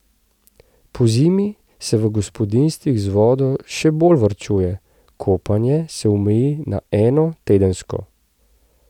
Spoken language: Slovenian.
Pozimi se v gospodinjstvih z vodo še bolj varčuje, kopanje se omeji na eno tedensko.